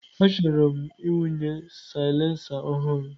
Achọrọ m ịwụnye silencer ọhụrụ.